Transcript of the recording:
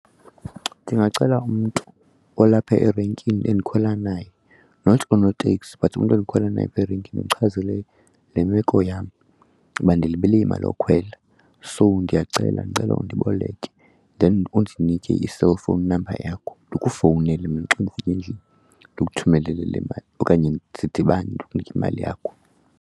Ndingacela umntu olapha erenkini endikhwela naye, not unoteksi but umntu endikhwela naye apha erenkini ndimchazele le meko yam uba ndilibele imali yokhwela so ndiyacela, ndicela undiboleke. Then undinike i-cellphone number yakho ndikufowunele mna xa ndifika endlini ndikuthumelele le mali okanye sidibane ndikunike imali yakho.